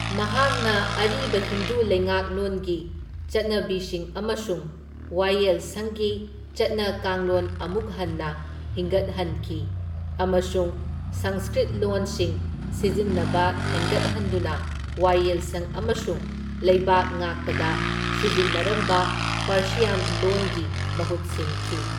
ꯃꯍꯥꯛꯅ ꯑꯔꯤꯕ ꯍꯤꯟꯗꯨ ꯂꯩꯉꯥꯛꯂꯣꯟꯒꯤ ꯆꯠꯅꯕꯤꯁꯤꯡ ꯑꯃꯁꯨꯡ ꯋꯥꯌꯦꯜ ꯁꯪꯒꯤ ꯆꯠꯅ ꯀꯥꯡꯂꯣꯟ ꯑꯃꯨꯛ ꯍꯟꯅ ꯍꯤꯡꯒꯠꯍꯟꯈꯤ ꯑꯃꯁꯨꯡ ꯁꯪꯁꯀ꯭ꯔꯤꯠ ꯂꯣꯟꯁꯤꯡ ꯁꯤꯖꯤꯟꯅꯕ ꯍꯦꯟꯒꯠꯍꯟꯗꯨꯅ ꯋꯥꯌꯦꯜ ꯁꯪ ꯑꯃꯁꯨꯡ ꯂꯩꯕꯥꯛꯉꯥꯛꯄꯗ ꯁꯤꯖꯤꯟꯅꯔꯝꯕ ꯄꯥꯔꯁꯤꯌꯥꯟ ꯂꯣꯟꯒꯤ ꯃꯍꯨꯠ ꯁꯤꯟꯈꯤ꯫